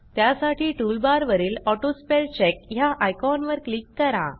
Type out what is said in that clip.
त्यासाठी टूलबारवरील ऑटोस्पेलचेक ह्या आयकॉनवर क्लिक करा